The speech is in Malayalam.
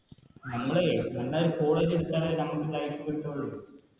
നമ്മളേയ് College എടുത്താലേ നമുക്ക് Life കിട്ടുള്ളു